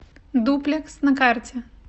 дуплекс на карте